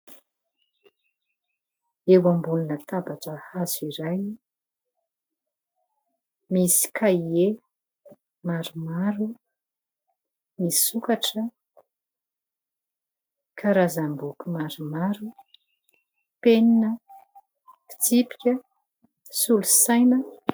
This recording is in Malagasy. Eo ambony latabatra hazo iray, misy kahie maromaro misokatra, karazam-boky maromaro, penina, fitsipika, solosaina ...